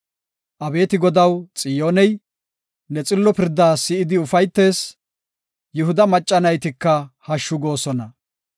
Abeeti Godaw, Xiyooney ne xillo pirdaa si7idi ufaytees; Yihuda macca naytika hashshu goosona.